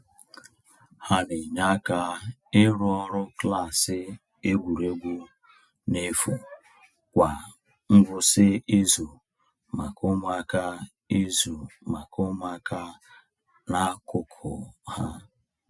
Ha na-enye aka ịrụ ọrụ klaasị egwuregwu n’efu kwa ngwụsị izu maka ụmụaka izu maka ụmụaka n’akụkụ ha.